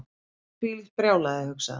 Þvílíkt brjálæði hugsaði hann.